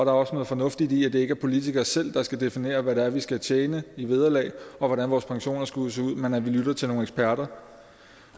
er også noget fornuftigt i at det ikke er politikere selv der skal definere hvad vi skal tjene i vederlag og hvordan vores pensioner skal se ud men at vi lytter til nogle eksperter